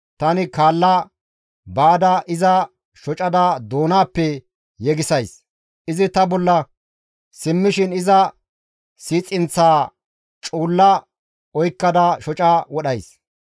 tani kaalla baada iza shocada doonappe yegisays; izi ta bolla simmishin iza siixinaththaa cuulla oykkada shoca wodhays.